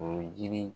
O ye yiri